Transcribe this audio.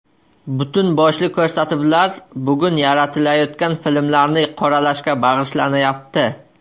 Butun boshli ko‘rsatuvlar bugun yaratilayotgan filmlarni qoralashga bag‘ishlanayapti.